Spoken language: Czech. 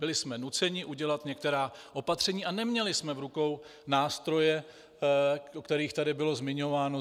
Byli jsme nuceni udělat některá opatření a neměli jsme v rukou nástroje, o kterých tady bylo zmiňováno.